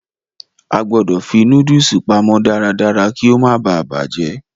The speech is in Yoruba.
A gbọ̀dọ̀ fi nóódùsì pamọ́ darádará kí ó má baà bàjẹ́